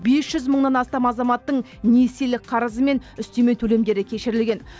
бес жүз мыңнан астам азаматтың несиелік қарызы мен үстеме төлемдері кешірілген